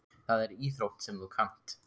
Það er íþrótt sem þú kannt.